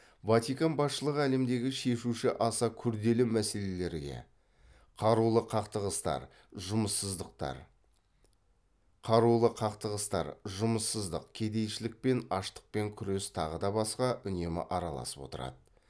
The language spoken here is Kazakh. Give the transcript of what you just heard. ватикан басшылығы әлемдегі шешуі аса күрделі мәселелерге қарулы қақтығыстар жұмыссыздықтар қарулы қақтығыстар жұмыссыздық кедейшілікпен аштықпен күрес тағыда басқа үнемі араласып отырады